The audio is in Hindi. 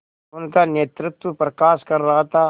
उनका नेतृत्व प्रकाश कर रहा था